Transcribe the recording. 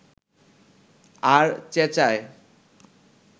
আর চ্যাঁচায়